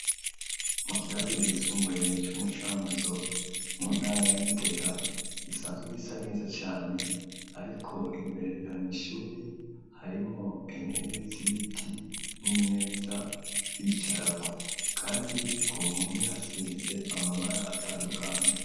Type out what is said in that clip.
Mu kirasi gisumbuye c'umucanguzo mu ntara yagitega gisanzwe gisa neza cane, ariko imbere ya mishuri harimo intebe zibiti n'imeza kwicarako, kandi ikompome asize amabara atandukana.